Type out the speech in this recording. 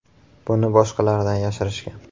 Buni boshqalardan yashirishgan.